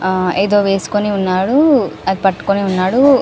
ఆహ్ ఏదో వెస్కొని ఉన్నాడు అది పట్టుకొని ఉన్నాడు --